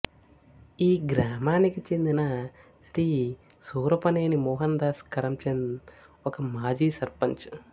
ఈ గ్రామానికి చెందిన శ్రీ సూరపనేని మోహన్ దాస్ కరంచంద్ ఒక మాజీ సర్పంచ్